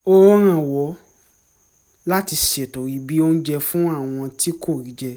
ó rànwọ́ láti ṣètò ibi oúnjẹ fún àwọn tí kò rí jẹ